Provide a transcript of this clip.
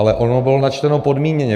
Ale ono bylo načteno podmíněně.